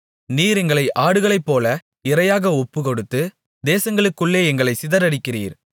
நீர் எங்களை ஆடுகளைப்போல இரையாக ஒப்புக்கொடுத்து தேசங்களுக்குள்ளே எங்களைச் சிதறடிக்கிறீர்